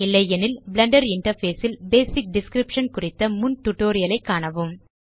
இல்லையெனில் blender interface ல் basic description குறித்த முன் டியூட்டோரியல் ஐ காணவும்